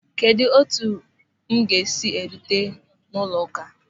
Kedụ etu m ga-esi erute n'ụlọụka...